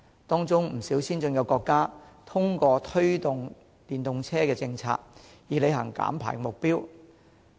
當中，有不少先進國家通過推動電動車的政策，以履行減排目標。